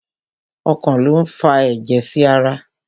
Ọkàn lo n fà ẹjẹ sí ará